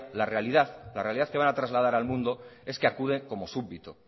la realidad que van a trasladar al mundo es que acude como súbdito